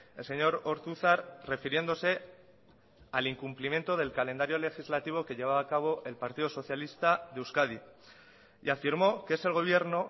el señor ortuzar refiriéndose al incumplimiento del calendario legislativo que llevaba a cabo el partido socialista de euskadi y afirmó que es el gobierno